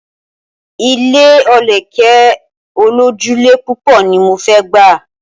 Ilé olókè olójúlé púpọ̀ ni mo fẹ́ gbà.